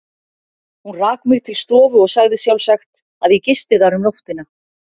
Hún rak mig til stofu og sagði sjálfsagt, að ég gisti þar um nóttina.